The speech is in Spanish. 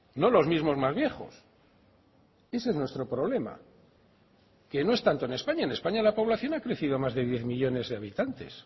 no los mismos más viejos ese es nuestro problema que no es tanto en españa en españa la población ha crecido más de diez millónes de habitantes